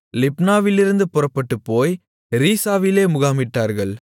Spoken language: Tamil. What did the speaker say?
லிப்னாவிலிருந்து புறப்பட்டுப்போய் ரீசாவிலே முகாமிட்டார்கள்